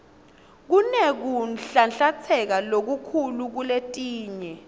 kunekunhlanhlatsa lokukhulu kuletinye